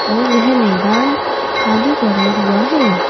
और यह मैदान खाली पड़ा हुआ है।